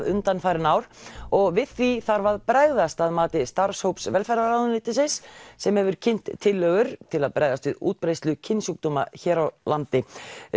undanfarin ár og við því þarf að bregðast að mati starfshóps velferðarráðuneytisins sem hefur kynnt tillögur til að bregðast við útbreiðslu kynsjúkdóma hér á landi